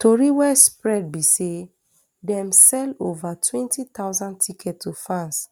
tori wey spread be say dem sell ova twenty thousand tickets to fans